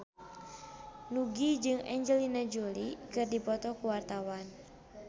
Nugie jeung Angelina Jolie keur dipoto ku wartawan